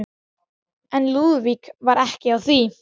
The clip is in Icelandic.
En Lúðvík var ekki á því.